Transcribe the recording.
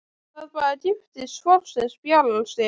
Það bara giftist fólki sem spjarar sig.